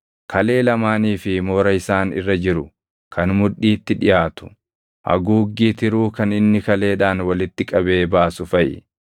kalee lamaanii fi moora isaan irra jiru kan mudhiitti dhiʼaatu, haguuggii tiruu kan inni kaleedhaan walitti qabee baasu faʼi;